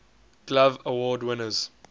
glove award winners